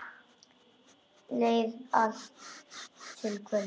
Leið svo allt til kvölds.